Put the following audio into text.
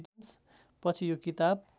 पछि यो किताब